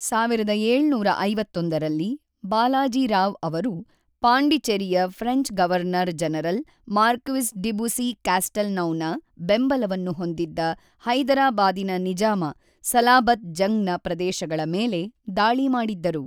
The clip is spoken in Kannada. ೧೭೫೧ರಲ್ಲಿ, ಬಾಲಾಜಿ ರಾವ್ ಅವರು ಪಾಂಡಿಚೆರಿಯ French governor general Marquis de ಬುಸ್ಸಿ-ಕ್ಯಾಸ್ಟೆಲ್‌ನೌನ ಬೆಂಬಲವನ್ನು ಹೊಂದಿದ್ದ ಹೈದರಾಬಾದಿನ ನಿಜಾಮ ಸಲಾಬತ್‌ ಜಂಗ್‌ನ ಪ್ರದೇಶಗಳ ಮೇಲೆ ದಾಳಿ ಮಾಡಿದ್ದರು.